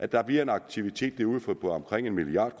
der bliver en aktivitet derude for omkring en milliard